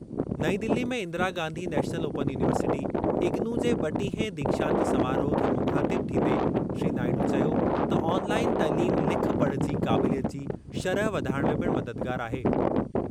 नईं दिल्ली में Indira Gandhi national open university, IGNOU जे ब॒टीहें दीक्षांत समारोह खे मुख़ातिब थींदे श्री नायडू चयो त ऑनलाइन तइलीम लिख पढ़ जी क़ाबिलियत जी शरह वधाइणु में पिणु मददगारु आहे।